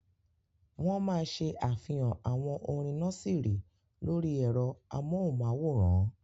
Wọ́n máa ṣe àfihàn àwọn orin nọ́síìrì lórí ẹ̀rọ amóhùnmáwòrán.